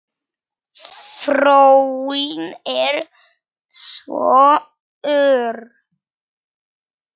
Þróunin er svo ör.